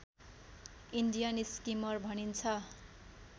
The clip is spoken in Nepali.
इन्डियन स्किमर भनिन्छ